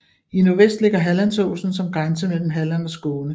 I nordvest ligger Hallandsåsen som grænse mellem Halland og Skåne